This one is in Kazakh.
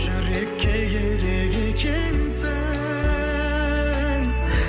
жүрекке ерек екенсің